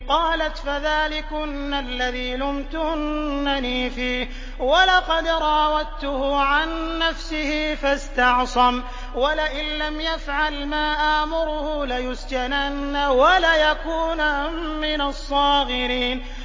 قَالَتْ فَذَٰلِكُنَّ الَّذِي لُمْتُنَّنِي فِيهِ ۖ وَلَقَدْ رَاوَدتُّهُ عَن نَّفْسِهِ فَاسْتَعْصَمَ ۖ وَلَئِن لَّمْ يَفْعَلْ مَا آمُرُهُ لَيُسْجَنَنَّ وَلَيَكُونًا مِّنَ الصَّاغِرِينَ